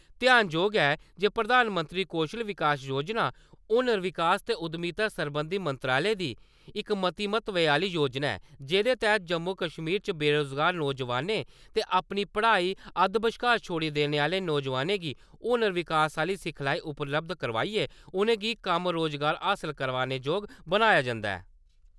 ध्यानजोग ऐ जे प्रधानमंत्री कौशल विकास योजना, हुनर विकास ते उद्यमिता सरबंधी मंत्रालय दी इक मती महत्वै आह्नी योजना ऐ जेह्दे तैह्त जम्मू-कश्मीर च बेरोजगार नौजवानें ते अपनी पढ़ाई अद्ध-बश्कार छोड़ी देने आह्वे नौजवानें हुनर विकास आह्ली सिखलाई उपलब्ध कराआइयै उनेंगी कम्म-रोजगार हासल करने जोग बनाया जंदा ऐ ।